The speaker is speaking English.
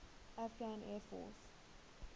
afghan air force